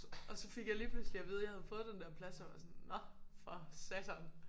Og så fik jeg lige pludselig at vide jeg havde fået den der plads og var sådan nåh for satan